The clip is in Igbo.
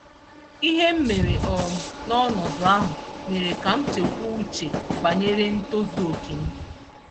ihe m mere um n'ọnọdụ ahụ mere ka m chekwuo uche banyere ntozu-oke m.